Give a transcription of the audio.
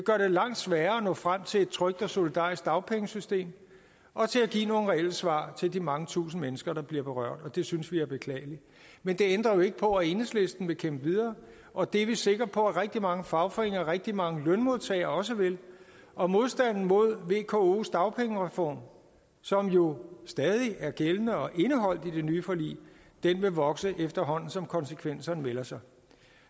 langt sværere at nå frem til et trygt og solidarisk dagpengesystem og give nogle reelle svar til de mange tusinde mennesker der bliver berørt og det synes vi er beklageligt men det ændrer jo ikke på at enhedslisten vil kæmpe videre og det er vi sikre på at rigtig mange fagforeninger og rigtig mange lønmodtagere også vil og modstanden mod vkos dagpengereform som jo stadig er gældende og indeholdt i det nye forlig vil vokse efterhånden som konsekvenserne melder sig